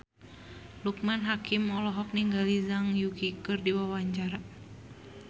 Loekman Hakim olohok ningali Zhang Yuqi keur diwawancara